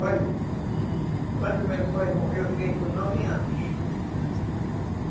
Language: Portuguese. Olha, quando meu pai morreu, eu fiquei com nove anos.